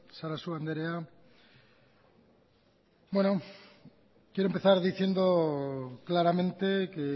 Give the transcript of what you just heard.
sarasua andrea bueno quiero empezar diciendo claramente que